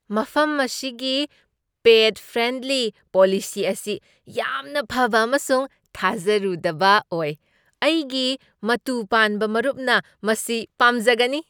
ꯃꯐꯝ ꯑꯁꯤꯒꯤ pet friendly policy ꯑꯁꯤ ꯌꯥꯝꯅ ꯐꯕ ꯑꯃꯁꯨꯡ ꯊꯥꯖꯔꯨꯗꯕ ꯑꯣꯏ , ꯑꯩꯒꯤ ꯃꯇꯨ ꯄꯥꯟꯕ ꯃꯔꯨꯞꯅ ꯃꯁꯤ ꯄꯥꯝꯖꯒꯅꯤ!